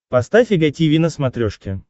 поставь эг тиви на смотрешке